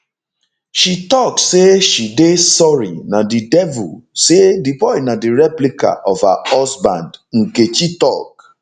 she tok say she dey sorry na di devil say di boy na di replica of her husband nkechi tok